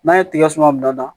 N'an ye tiga suman bila da